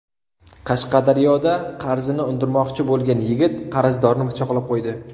Qashqadaryoda qarzini undirmoqchi bo‘lgan yigit qarzdorni pichoqlab qo‘ydi.